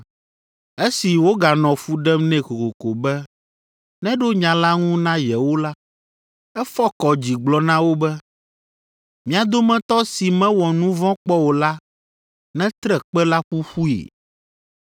Esi woganɔ fu ɖem nɛ kokoko be neɖo nya la ŋu na yewo la, efɔ kɔ dzi gblɔ na wo be “Mia dometɔ si mewɔ nu vɔ̃ kpɔ o la netre kpe la ƒuƒui!”